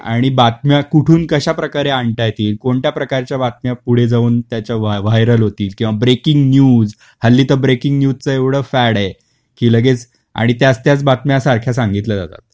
आणि बातम्या कुठून कश्याप्रकारे आणता येतील, कोणत्या प्रकारच्या बातम्या पुढे जाऊन त्याच व्हा व्हायरल होतील, किंवा ब्रेकिंग न्यूज, हल्ली तर ब्रेकिंग न्यूज च एवढ फॅड आहे की लगेच आणि त्याच त्याच बातम्या सारख्या सांगितले जात.